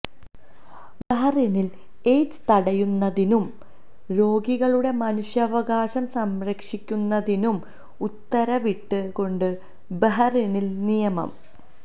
ബഹ്റൈനിൽ AIDS തടയുന്നതിനും രോഗികളുടെ മനുഷ്യാവകാശം സംരക്ഷിക്കുന്നതിനും ഉത്തരവിട്ട് കൊണ്ട് ബഹ്റൈനിൽ നിയമം